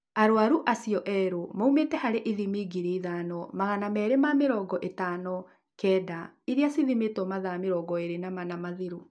Arwaru acio eerũ maumĩte harĩ ithimi ngiri ithano, magana meerĩ ma mĩrongo ĩtano kenda iria cithimĩtwo mathaa mĩrongo ĩĩrĩ na mana mathiru